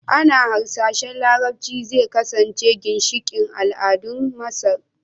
Ana hasashen Larabci zai kasance ginshiƙin al'adun Masar